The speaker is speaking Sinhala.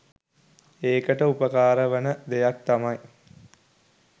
ඒකට උපකාර වන දෙයක් තමයි